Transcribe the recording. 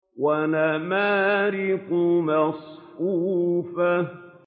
وَنَمَارِقُ مَصْفُوفَةٌ